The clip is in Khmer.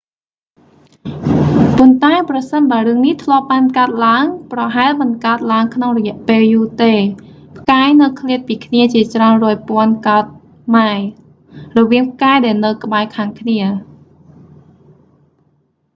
ប៉ុន្តែ ប្រសិនបើរឿងនេះធ្លាប់បានកើតឡើង ប្រហែលមិនកើតឡើងក្នុងរយៈពេលយូរទេ ផ្កាយនៅឃ្លាតពីគ្នាជាច្រើនរយពាន់កោដិម៉ាយល្ស៍ រវាងផ្កាយដែលនៅ ក្បែរខាងគ្នា